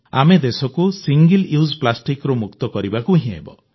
ଆମେ ଦେଶକୁ ଏକକ ପ୍ଲାଷ୍ଟିକ ବ୍ୟବହାରରୁ ମୁକ୍ତ କରିବାକୁ ହିଁ ହେବ